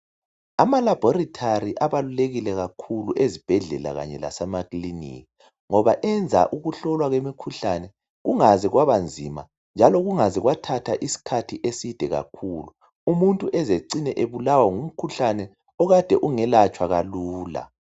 ama labholitali aqakathekile kakhulu ezibhedlela lasemakilinika ngoba enza ukuhlolwa komkhuhlane kungaze kwabanzima njalo kungaze kwathatha isikhathi eside kakhulu umuntu eze ecine ebulawa ngumkhuhlane okade ungelatshwa kalula